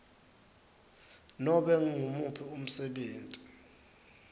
nobe ngumuphi umsebenti